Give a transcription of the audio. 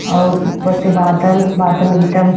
और ऊपर से बादल बादल एकदम --